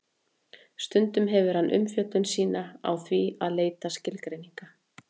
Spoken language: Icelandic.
stundum hefur hann umfjöllun sína á því að leita skilgreininga